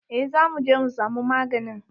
Eh za muje mu samu maganin.